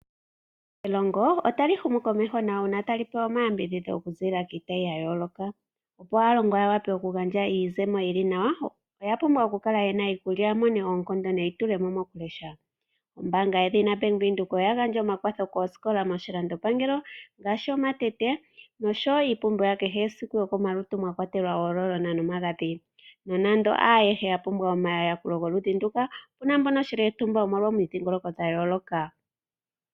Elongo ota li humu komeho nawa uuna ta li pewa omayambidhidho oku ziilila kiitayi ya yooloka, yo aalongwa ya pewe iizemo yili nawa, oya pumbwa oku kala yena iikulya ya vele oku mona oonkondo neyitulemo mo ku lesha. Ombaanga yedhina Bank Windhoek oya gandja omakwatho kooskola moshilando pangelo, ngaashi omatete, nosho woo iipumbiwa ya kehesiku yokomalutu mwa kwatelwa ooloolona nomagadhi. Nonando haayehe ya pumbwa omaludhi geli ngeyika, oshili wo uuntsa kwaamboka yomomidhiingoloko dha yooloka.